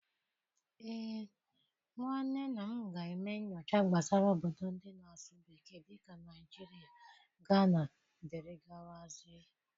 Ee, nwanne nna m ga-eme nyocha gbasara obodo ndị na-asụ bekee dị ka Naijiria, Ghana, dere gawa zie.